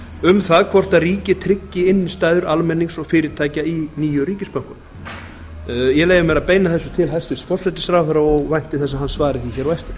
um það hvort ríkið tryggi innistæður almennings og fyrirtækja í nýju ríkisbönkunum ég leyfi mér að beina þessu til hæstvirts forsætisráðherra og vænti þess að hann svari mér hér á eftir